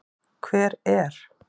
Hver er.